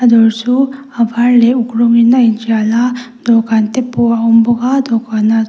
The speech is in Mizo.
a dawr chu a var leh a uk rawngin a intial a dawhkan te pawh a awm bawk a dawhkanah --